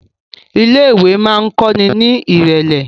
ilé ìwé ma kò ní irẹlẹ.